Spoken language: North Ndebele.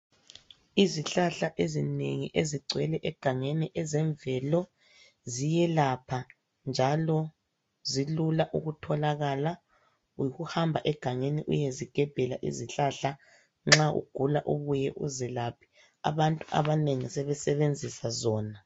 Izihlahla ezinengi ezigcwele egangeni ezemvelo ziyelapha, njalo zilula ukutholakala. Yikuhamba egangeni uyezigebhela egangeni nxa ugula ,ubuye uzelaphe .Abantu abanengi sebesebenzisa zona.